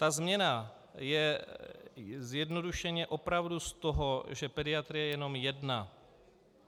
Ta změna je zjednodušeně opravdu z toho, že pediatrie je jenom jedna.